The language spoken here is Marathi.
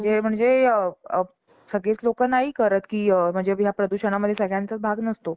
अं रोजच्या जेवणासाठी जे ल व~ आवश्यक गोष्टी भाजीपाला, गहू, ज्वारी, बाजरी अशी खूप काही पदार्थ, आपलं फ~ फळं म्हणता येईल. ऊस, मोसंबी, आंबा, केळी